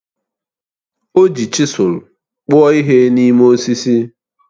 O ji chisụl kpụọ ihe n'ime osisi